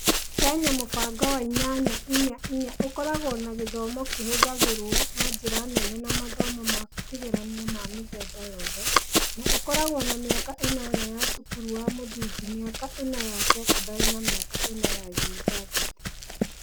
Kenya, mũbango wa inyanya inya inya (8.4.4) ũkoragwo na gĩthomo kĩhũthagĩrũo na njĩra nene na mathomo ma kĩgeranio ma mĩthemba yothe, na ũkoragwo na mĩaka ĩnana ya cukuru wa mũthingi, mĩaka ĩna ya sekondarĩ na mĩaka ĩna ya university.